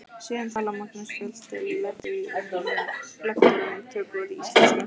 Síðan talar Magnús Fjalldal lektor um tökuorð í íslensku.